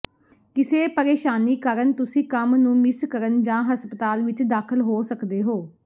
ਕਿਸੇ ਪਰੇਸ਼ਾਨੀ ਕਾਰਨ ਤੁਸੀਂ ਕੰਮ ਨੂੰ ਮਿਸ ਕਰਨ ਜਾਂ ਹਸਪਤਾਲ ਵਿੱਚ ਦਾਖਲ ਹੋ ਸਕਦੇ ਹੋ